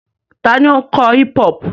Ta ni ó ń kọ hip-hop?